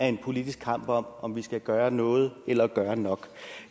en politisk kamp om om vi skal gøre noget eller gør nok